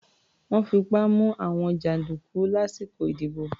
Wọ́n fipá mú àwọn jàǹdùkú lásìkò ìdìbò.